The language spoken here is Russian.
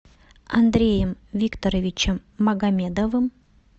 андреем викторовичем магомедовым